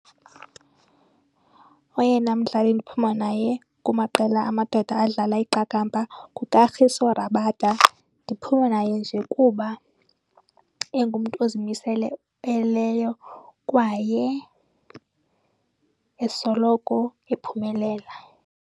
Oyena mdlali ndiphuma naye kumaqela amadoda adlala iqakamba nguKagiso Rabada. Ndiphuma naye nje kuba engumntu kwaye esoloko ephumelela.